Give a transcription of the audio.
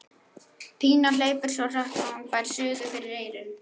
Pína hleypur svo hratt að hún fær suðu fyrir eyrun.